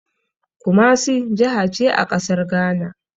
Kumasi jahace a ƙasar Ghana